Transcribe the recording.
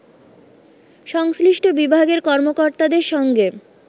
সংশ্লিষ্ট বিভাগের কর্মকর্তাদের সঙ্গে